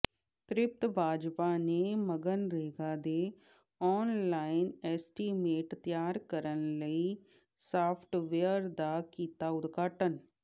ਤ੍ਰਿਪਤ ਬਾਜਵਾ ਨੇ ਮਗਨਰੇਗਾ ਦੇ online estimate ਤਿਆਰ ਕਰਨ ਲਈ ਸਾਫਟਵੇਅਰ ਦਾ ਕੀਤਾ ਉਦਘਾਟਨ